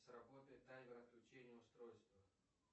сработает таймер отключения устройства